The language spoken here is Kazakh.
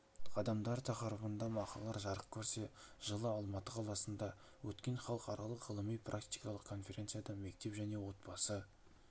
қадамдары тақырыбында мақалалар жарық көрсе жылы алматы қаласында өткен халықаралық ғылыми-практикалық конференцияда мектеп және отбасы